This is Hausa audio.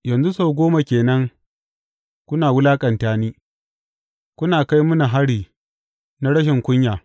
Yanzu sau goma ke nan kuna wulaƙanta ni, kuna kai mini hari na rashin kunya.